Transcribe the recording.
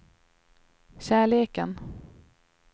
kärleken